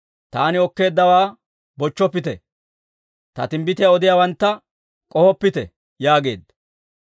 «Taani okkeeddawaa bochchoppite; Ta timbbitiyaa odiyaawantta k'ohoppite» yaageedda.